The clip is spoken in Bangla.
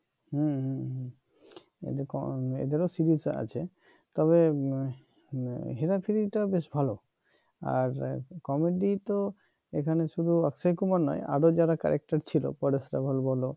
হম এদের ও সিরিজ আছে তবে হেরা ফেরি টা বেশ ভাল আর কমেডি তো এখানে শুধু অক্ষয় কুমার নয় আরো যারা character ছিল পরেশ রাওয়াল বল